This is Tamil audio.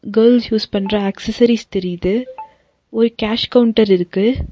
கேர்ள்ஸ் யூஸ் பண்ற ஆக்சஸரீஸ் தெரியிது ஒரு கேஷ் கவுண்டர் இருக்கு.